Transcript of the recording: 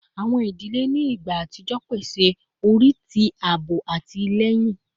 Awọn idile ni igba atijọ pese ori ti aabo ati atilẹyin